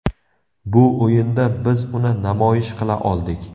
Bu o‘yinda biz uni namoyish qila oldik.